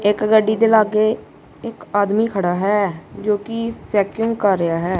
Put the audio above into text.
ਇੱਕ ਗੱਡੀ ਦੇ ਲਾਗੇ ਇਕ ਆਦਮੀ ਖੜਾ ਹੈ ਜੋ ਕਿ ਚੈਕਿੰਗ ਕਰ ਰਿਹਾ ਹੈ।